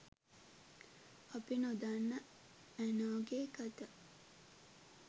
අපි නොදන්න ඇනෝ ගේ කතා